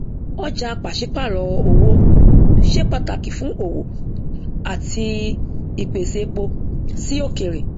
ọjà pàṣípààrò owó ṣe pàtàkì fún òwò àti ìpèsè epo sí òkèrè